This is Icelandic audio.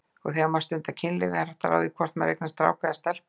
Þegar maður stundar kynlíf er hægt að ráða hvort maður eignast strák eða stelpu?